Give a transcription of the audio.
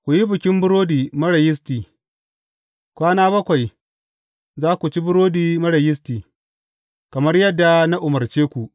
Ku yi Bikin Burodi Marar Yisti, kwana bakwai za ku ci burodi marar yisti, kamar yadda na umarce ku.